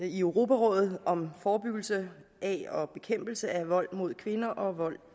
i europarådet om forebyggelse og bekæmpelse af vold mod kvinder og vold